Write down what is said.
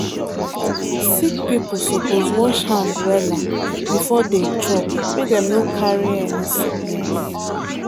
sick people suppose wash hand wella before dey chop make dem no carry any sickness.